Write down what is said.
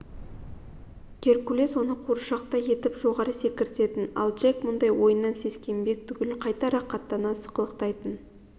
геркулес оны қуыршақтай етіп жоғары секіртетін ал джек мұндай ойыннан сескенбек түгіл қайта рақаттана сықылықтайтын